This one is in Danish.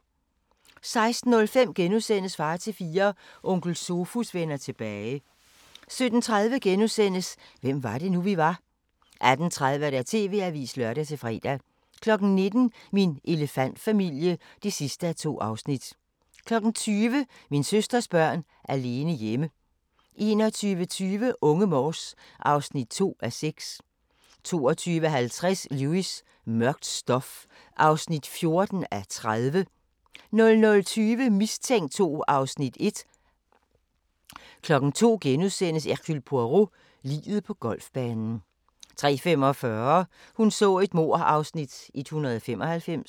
16:05: Far til fire – Onkel Sofus vender tilbage * 17:30: Hvem var det nu, vi var? * 18:30: TV-avisen (lør-fre) 19:00: Min elefantfamilie (2:2) 20:00: Min søsters børn alene hjemme 21:20: Unge Morse (2:6) 22:50: Lewis: Mørkt stof (14:30) 00:20: Mistænkt 2 (Afs. 1) 02:00: Hercule Poirot: Liget på golfbanen * 03:45: Hun så et mord (Afs. 195)